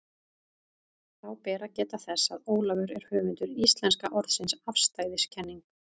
Þá ber að geta þess, að Ólafur er höfundur íslenska orðsins afstæðiskenning.